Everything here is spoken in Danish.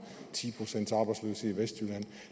ti procents arbejdsløshed i vestjylland